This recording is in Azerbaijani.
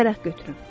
Bir vərəq götürün